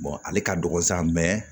ale ka dɔgɔn sa